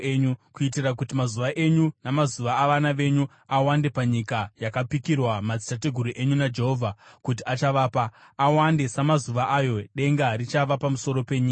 kuitira kuti mazuva enyu namazuva avana venyu awande panyika yakapikirwa madzitateguru enyu naJehovha kuti achavapa, awande samazuva ayo denga richava pamusoro penyika.